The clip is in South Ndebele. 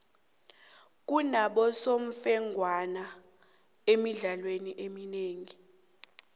kunabosemfengwana emidlalweni eminengi